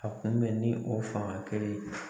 A kunbɛn ni o fanga kelen in ye